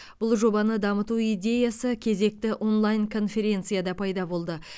бұл жобаны дамыту идеясы кезекті онлайн конференцияда пайда болды